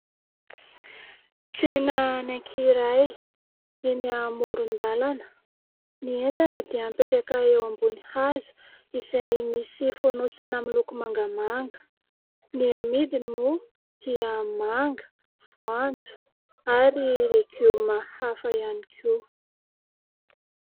Tsena anankiray eny amoron-dalana. Ny entana dia apetraka eo ambony hazo izay misy fonosana miloko mangamanga. Ny amidiny moa dia manga, voanjo, ary legioma hafa ihany koa.